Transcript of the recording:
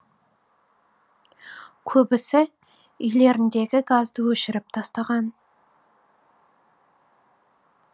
көбісі үйлеріндегі газды өшіріп тастаған